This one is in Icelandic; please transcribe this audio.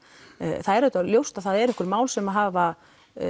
það er auðvitað ljóst að það eru einhver mál sem hafa